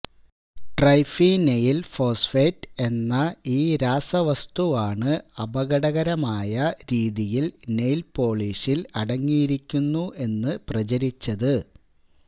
triphenyl phosphate എന്ന ഈ രാസവസ്തുവാണ് അപകടകരമായ രീതിയില് നെയില് പോളിഷില് അടങ്ങിയിരിക്കുന്നു എന്ന് പ്രചരിച്ചത്